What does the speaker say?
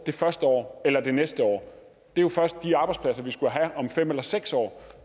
det første år eller det næste år det er jo først de arbejdspladser vi skulle have om fem eller seks år